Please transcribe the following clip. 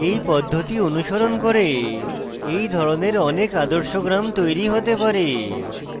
এই পদ্ধতি অনুসরণ করে এই ধরনের অনেক আদর্শ গ্রাম তৈরী হতে পারে